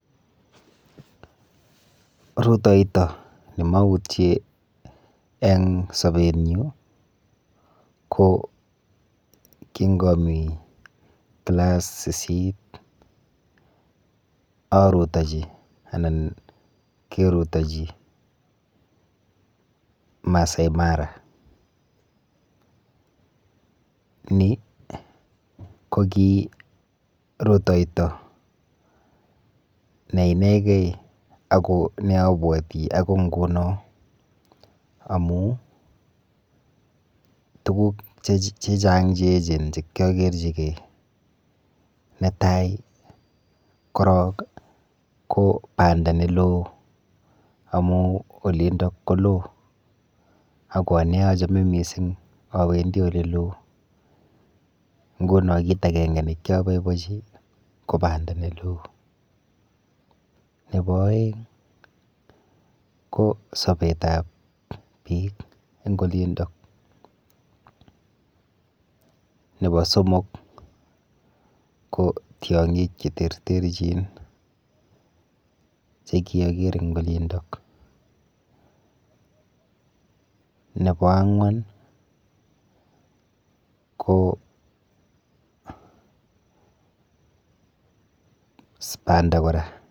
Rutoito nimautie eng sobetnyu ko kingami kilass sisit arutochi anan kerutochi Maasai Mara ni koki rutoito ne inegei ako neabuati akoi nguno amu tukuk che chang che echen chekiakerchikei netai korok ko panda neloo amun olindok ko loo ako anee achame mising awendi oleloo nguno kiit akenge nekiapoipochi ko banda neloo nebo oeng ko sobet ap biik eng olindok nebo somok ko tiong'ik che terter chin che kiaker eng olindok nebo ang'wan ko banda kora.